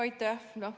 Aitäh!